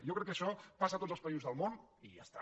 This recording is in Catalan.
jo crec que això passa a tots els països del món i ja està